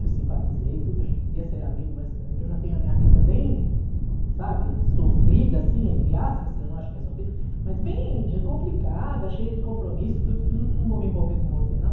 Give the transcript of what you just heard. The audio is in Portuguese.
eu simpatizei tudo, a gente podia ser amigo, mas eu já tenho a minha vida bem, sabe, sofrida, assim, entre aspas, que eu não acho que é sofrida, mas bem complicada, cheia de compromisso, tudo, não vou me envolver com você, não.